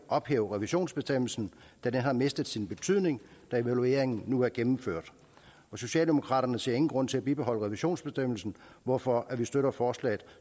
ophæve revisionsbestemmelsen da den har mistet sin betydning da evalueringen nu er gennemført socialdemokraterne ser ingen grund til at bibeholde revisionsbestemmelsen hvorfor vi støtter forslaget